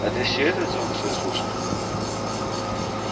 а ты всё этот звук свой слышал